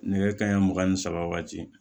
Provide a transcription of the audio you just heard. Nɛgɛ kanɲɛ mugan ni saba waati